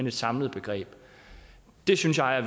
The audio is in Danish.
et samlet begreb det synes jeg er